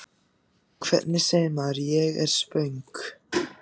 Hvernig segir maður: Ég er svöng?